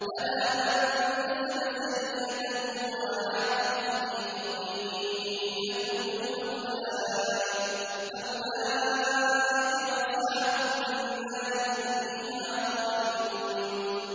بَلَىٰ مَن كَسَبَ سَيِّئَةً وَأَحَاطَتْ بِهِ خَطِيئَتُهُ فَأُولَٰئِكَ أَصْحَابُ النَّارِ ۖ هُمْ فِيهَا خَالِدُونَ